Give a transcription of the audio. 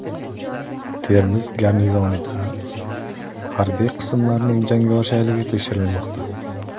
Termiz garnizonida harbiy qismlarning jangovar shayligi tekshirilmoqda .